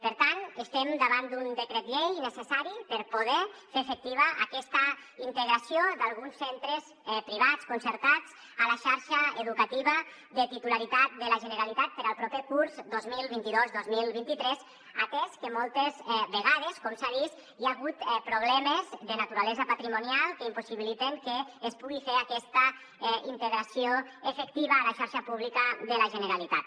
per tant estem davant d’un decret llei necessari per poder fer efectiva aquesta integració d’alguns centres privats concertats a la xarxa educativa de titularitat de la generalitat per al proper curs dos mil vint dos dos mil vint tres atès que moltes vegades com s’ha vist hi ha hagut problemes de naturalesa patrimonial que impossibiliten que es pugui fer aquesta integració efectiva a la xarxa pública de la generalitat